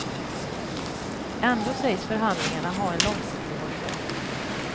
Ändå sägs förhandlingarna ha en långsiktig horisont.